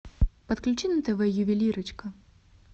подключи на тв ювелирочка